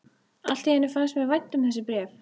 Allt í einu fannst mér vænt um þessi bréf.